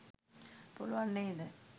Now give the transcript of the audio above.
පුළුවන් නේද.